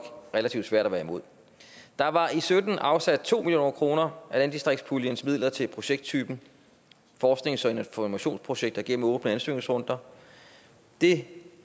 relativt svært at være imod der var i sytten afsat to million kroner af landdistriktspuljens midler til projekttypen forsknings og informationsprojekter gennem åbne ansøgningsrunder det